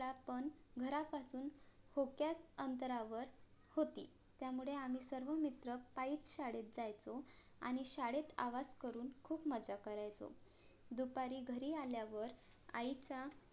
त्यात पण घरापासून थोडक्या अंतरावर होती. त्यामुळे आम्ही सर्व मित्र पायीच शाळेत जायचो, आणि शाळेत आवाज करून खूप मज्जा करायचो दुपारी घरी आल्या वर आईचा